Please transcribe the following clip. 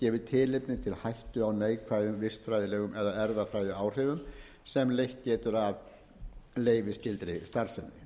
gefi tilefni til hættu á neikvæðum vistfræðilegum eða erfðafræðiáhrifum sem leitt getur af leyfisskyldri starfsemi